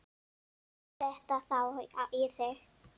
Drífðu þetta þá í þig.